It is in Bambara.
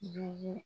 Jugu